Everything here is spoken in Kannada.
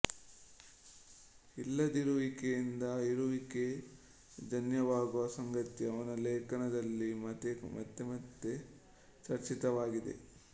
ಇಲ್ಲದಿರುವಿಕೆಯಿಂದ ಇರುವಿಕೆ ಜನ್ಯವಾಗುವ ಸಂಗತಿ ಅವನ ಲೇಖನದಲ್ಲಿ ಮತ್ತೆಮತ್ತೆ ಚರ್ಚಿತವಾಗಿದೆ